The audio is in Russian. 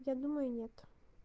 я думаю нет